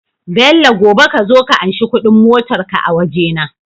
Bello gobe kazo ka anshi Ƙudin motar ka a waje na